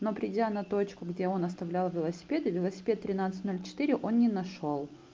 но придя на точку где он оставлял велосипеды велосипед тринадцать ноль четыре он не нашёл